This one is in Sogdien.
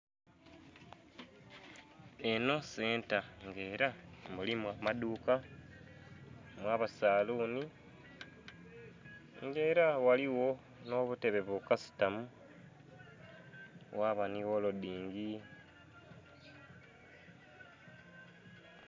Enho senta nga era kemulimu amadhuuka, mwaba salunhi nga era ghaligho nh'obutebe bukasitamu ghaba nhi ghelodhingi.